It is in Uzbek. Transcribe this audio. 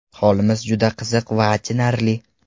Holimiz juda qiziq va achinarli.